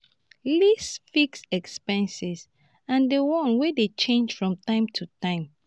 list fixed expenses and di ones wey dey change from time to time